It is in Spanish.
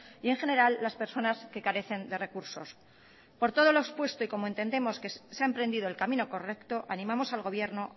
y en general las personas que carecen de recursos por todo lo expuesto y como entendemos que se ha emprendido el camino correcto animamos al gobierno